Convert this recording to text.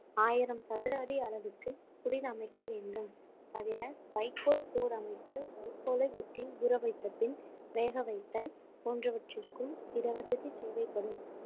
ஆயிரம் சதுர அடி அளவுக்கு குடில் அமைக்க வேண்டும் தவிர வைக்கோல் போர் அமைத்தல் வைக்கோலை வெட்டி ஊற வைத்தபின் வேக வைத்தல் போன்றவற்றிற்கும் இடவசதி தேவைப்படும்